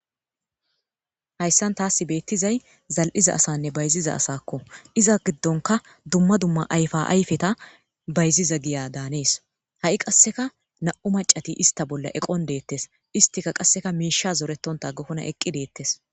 Hayssan taasi beetizay zal7iza asann bayziza asa. Iza gidonnkka dumma dumma ayfa ayfeta bayizza giya daanees. Hy qassekka nam7u maccati istta bolla eqqon deetees. Istti qassekka miishsha zorentehtha agookkona eqqi deetees.